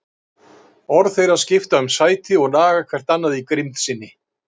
Orð þeirra skipta um sæti og naga hvert annað í grimmd sinni.